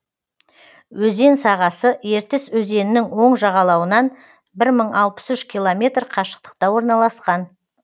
өзен сағасы ертіс өзенінің оң жағалауынан бір мың алпыс үш километр қашықтықта орналасқан